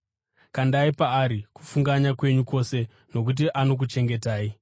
Kandai paari kufunganya kwenyu kwose nokuti anokuchengetai.